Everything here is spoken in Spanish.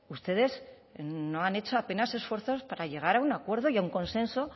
ustedes no han hecho apenas esfuerzos para llegar a un acuerdo y a un consenso